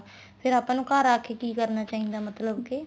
ਫ਼ੇਰ ਆਪਾਂ ਨੂੰ ਘਰ ਆ ਕੇ ਕੀ ਕਰਨਾ ਚਾਹੀਦਾ ਮਤਲਬ ਕੇ